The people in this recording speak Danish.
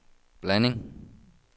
blanding